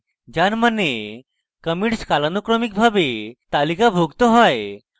যার means commits কালানুক্রমিকভাবে তালিকাভুক্ত হয়